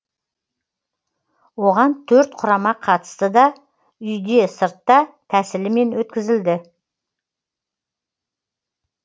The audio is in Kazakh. оған төрт құрама қатысты да үйде сыртта тәсілімен өткізілді